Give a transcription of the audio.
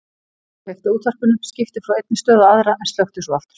Hún kveikti á útvarpinu, skipti frá einni stöð á aðra en slökkti svo aftur.